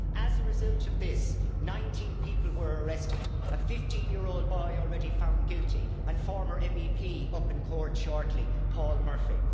As a result of this 19 people were arrested, a 15 year old boy already found guilty and a former MEP up in court shortly, Paul Murphy.